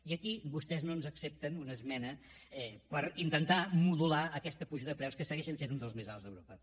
i aquí vostès no ens accepten una esmena per intentar modular aquesta puja de preus que segueixen sent uns dels més alts d’europa